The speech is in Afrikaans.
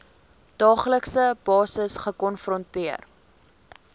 daaglikse basis gekonfronteer